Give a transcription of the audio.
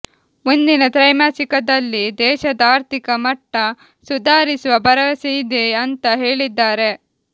ಮುಂದಿನ ತ್ರೈಮಾಸಿಕದಲ್ಲಿ ದೇಶದ ಆರ್ಥಿಕ ಮಟ್ಟ ಸುಧಾರಿಸುವ ಭರವಸೆಯಿದೆ ಅಂತ ಹೇಳಿದ್ದಾರೆ